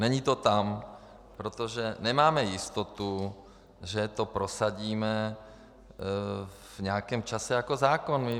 Není to tam, protože nemáme jistotu, že to prosadíme v nějakém čase jako zákon.